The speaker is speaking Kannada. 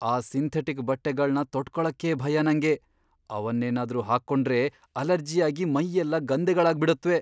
ಆ ಸಿಂಥೆಟಿಕ್ ಬಟ್ಟೆಗಳ್ನ ತೊಟ್ಕೊಳಕ್ಕೇ ಭಯ ನಂಗೆ.. ಅವನ್ನೇನಾದ್ರೂ ಹಾಕೊಂಡ್ರೆ ಅಲರ್ಜಿಯಾಗಿ ಮೈಯೆಲ್ಲ ಗಂದೆಗಳಾಗ್ಬಿಡತ್ವೆ.